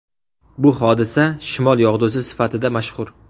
Bu hodisa shimol yog‘dusi sifatida mashhur.